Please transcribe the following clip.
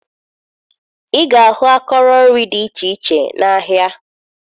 Ị ga-ahụ akọrọ nri dị iche iche n'ahịa